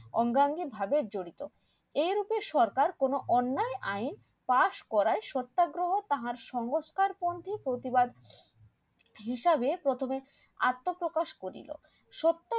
অঙ্গাঙ্গি ভাগ্য জড়িত রূপে সরকার কোনো অন্যায় আইন Pass করায় সত্যাগ্রহ তাহার সংস্কারপন্থী প্রতিবাদ হিসাবে প্রথমে আত্মপ্রকাশ করিল সত্য